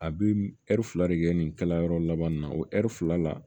A bɛ ɛri fila de kɛ nin kɛla yɔrɔ laban nin na o ɛri fila la